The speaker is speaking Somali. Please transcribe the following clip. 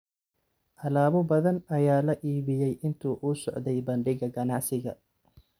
Alaabo badan ayaa la iibiyay intii uu socday bandhigga ganacsiga.